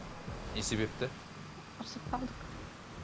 не себепті ұрысып қалдық